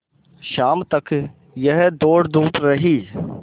शाम तक यह दौड़धूप रही